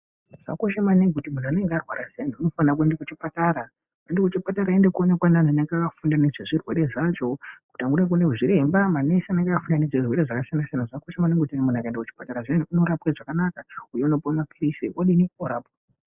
Zvakakosha maningi kuti muntu unenge warwara zviyani unofane kuenda kuchipatara, oende kuchipatara oende koonekwa nevantu vanenge vakafunda nezvechirwere zvazvo kuti unode kuona a zviremba manesi anenge akafunda nezvezvirwere zvakasiyana siyana zvakakoshe maningi kuti muntu akaende kuchipatara zviyani unorapwe zvakanaka uyu unopiwe maphirizi ekodini ekorapwa.